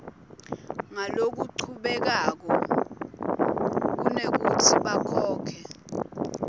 ngalokuchubekako kunekutsi bakhokhe